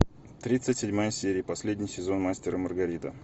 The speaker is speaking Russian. тридцать седьмая серия последний сезон мастер и маргарита